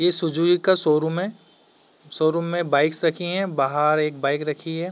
इ सुजुवी सुजुकी का शोरूम है। शोरूम में बाइक्स रखी हैं। बाहर एक बाइक रखी हैं।